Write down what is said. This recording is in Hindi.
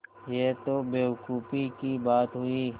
यह तो बेवकूफ़ी की बात हुई